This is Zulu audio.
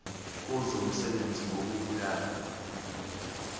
kuzo umsebenzi wokubulala